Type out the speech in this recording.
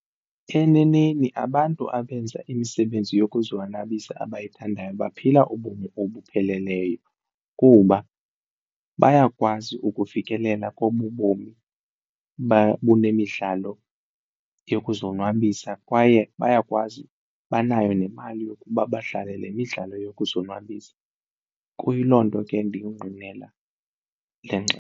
Eneneni abantu abenza imisebenzi yokuzonwabisa abayithandayo baphila ubomi obupheleleyo kuba bayakwazi ukufikelela kobubomi bunemidlalo yokuzonwabisa kwaye bayakwazi, banayo nemali yokuba badlale le midlalo yokuzonwabisa kuyiloo nto ke ndiyingqinela le ngxelo.